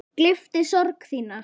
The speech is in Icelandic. Gleypti sorg þína.